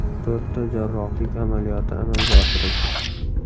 To‘rtta jarrohlik amaliyoti amalga oshirildi.